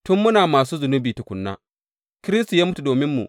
Tun muna masu zunubi tukuna, Kiristi ya mutu dominmu.